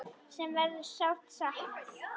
Sem verður sárt saknað.